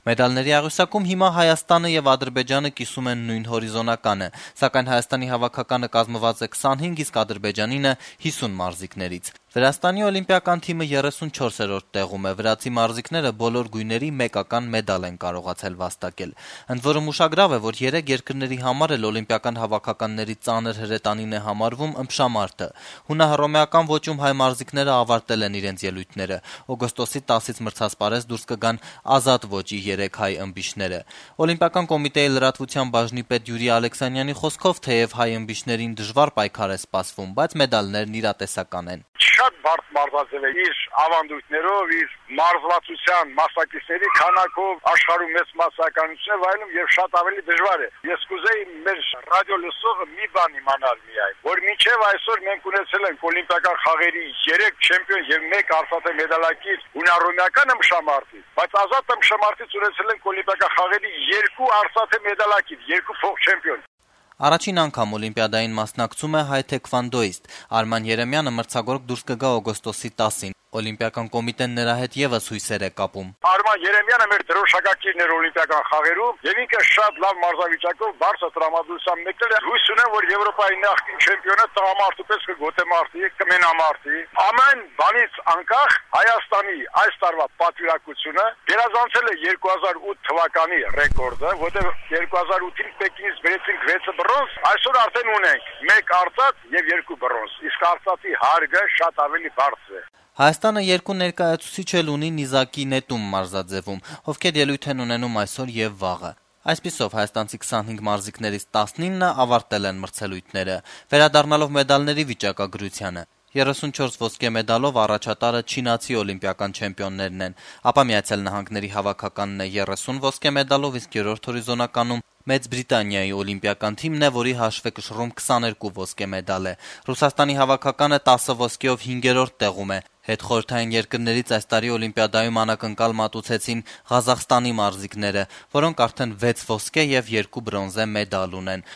Մեդալների աղյուսակում հիմա Հայաստանը եւ Ադրբեջանը կիսում են նույն հորիզոնականը, սակայն Հայաստանի հավաքականը կազմաված է 25, իսկ Ադրբեջանինը՝ 50 մարզիկներից։ Վրաստանի օլիմպիական թիմը 34-րդ տեղում է։ Վրացի մարզիկները բոլոր գույների մեկական մեդալ են վաստակել։ Ուշագրավ է, որ երեք երկրների համար էլ օլիմպիական հավաքականների ծանր հրետանին է համարվում ըմբշամարտը։ Հունահռոմեական ոճում հայ մարզիկները ավարտել են իրենց ելույթները։ Օգոստոսի 10-ից մրցասպարեզ դուրս կգան ազատ ոճի 3 հայ ըմբիշները։ Օլիմպիական կոմիտեի լրատվության բաժնի պետ Յուրի Ալեքսանյանի խոսքով, թեեւ հայ ըմբիշներին դժվար պայքար է սպասվում, բայց մեդալներն իրատեսական են։ «Շատ բարդ մարզաձեւ է, աշխարհում մեծ մասսայականություն է վայելում եւ շատ ավելի դժվար է։ Մինչեւ այսօր մենք ունեցել ենք Օլիմպիական խաղերի 3 չեմպիոն եւ 1 արծաթե մեդալակիր հունահռոմեական ըմբշամարտից, բայց ազատ ըմբշամարտից ունեցել ենք Օլիմպիական խաղերի երկու արծաթե մեդալակիր՝ երկու փոխչեմպիոն», - նշեց Ալեքսանյանը։ Առաջին անգամ Օլիմպիադային մասնակցում է հայ թեքվանդոիստ։ Արման Երեմյանը մրցագորգ դուրս կգա օգոստոսի 10-ին։ Օլիմպիական կոմիտեն նրա հետ եւս հույսեր է կապում։ «Արման Երեմյանը մեր դրոշակակիրն էր Օլիմպիական խաղերում եւ շատ լավ մարզավիճակով, բարձր տրամադրությամբ մեկնել է։ Հույս ունեմ, որ Եվրոպայի նախկին չեմպիոնը տղամարդու պես կմենամարտի։ Ամեն բանից անկախ՝ Հայաստանի այս տարվա պատվիրակությունը գերազանցել է 2008 թվականի ռեկորդը, որովհետեւ 2008-ին Պեկինից բերեցինք 6 բրոնզ, այսօր արդեն ունենք 1 արծաթ եւ 2 բրոնզ, իսկ արծաթի հարգը շատ ավելի բարձր է», - նշեց Օլիմպիական կոմիտեի լրատվության բաժնի պետը։ Հայաստանը երկու ներկայացուցիչ էլ ունի նիզակի նետում մարզաձեւում։ Նրանք ելույթ են ունենում այսօր եւ վաղը։ Այսպիսով հայաստանցի մարզիկներից 19-ը ավարտել են մրցելույթները։ Վերադառնալով մեդալների վիճակագրությանը՝ աղյուսակի առաջին երեք տեղերը շարունակում են զբաղեցնել, համապատասխանաբար, Չինաստանը, Միացյալ Նահանգները եւ Մեծ Բրիտանիան։ Ռուսաստանի հավաքականը 10 ոսկե մեդալով հինգերորդ տեղում է։ Հետխորհրդային երկրներից այս տարի Օլիմպիադայում անակնկալ մատուցեցին Ղազախստանի մարզիկները, որոնք արդեն 6 ոսկե եւ 2 բրոնզե մեդալ ունեն։